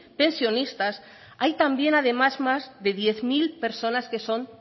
pensionistas hay también además más de diez mil personas que son